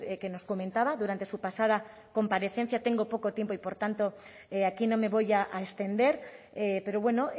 que nos comentaba durante su pasada comparecencia tengo poco tiempo y por tanto aquí no me voy a extender pero bueno